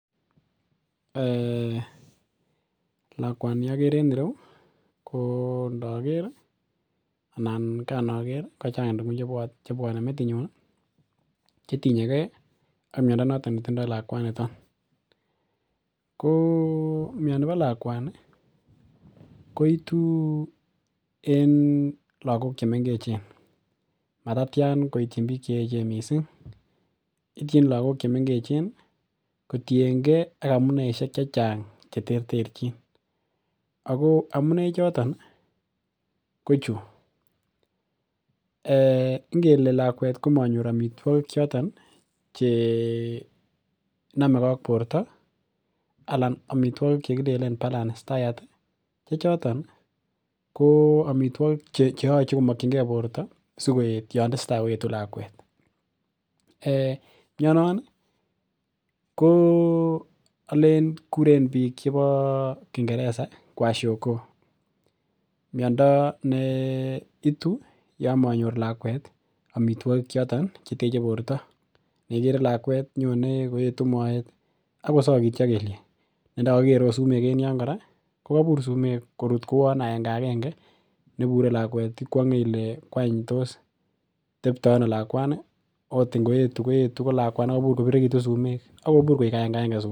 um lakwani okere en ireu ko ndoker ih ana kanoker ih ko chang tuguk chebwone metinyun chetinye gee ak miondo noton netindoo lakwaniton. Ko mioni bo lakwani ko itu en lagok chemengechen matatyan koityin biik cheechen missing ityin lagok chemengechen missing kotiengee ak amuneisiek chechang cheterterchin ako amun en choton ko chu um ngele lakwet komonyor amitwogik choton chenomegee ak borto anan amitwogik chekilenen balanced diet chechoton ko amitwogik cheyoche komokyingee borto sikoet yan tesetaa koetu lakwet um mionon ih ko olen kuren biik chebo kingereza kwashiorkor miondo neitu yon manyor lakwet amitwogik choton cheteche borto neikere lakwet nyone koetu moet akosokityo kelyek ne ndokokikere sumek en yon kora ko kobur sumek korut kouon agenge agenge nebure lakwet ikwong'e ile wany tos teptoo ano lakwani ot ngoetu koetu ko lakwa nekobirirekitu sumek akobur koik agenge agenge sumek.